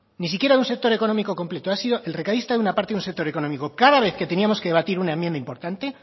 ni siquiera un sector económico completo ha sido el recadista de una parte de un sector económico cada vez que teníamos que debatir una enmienda importante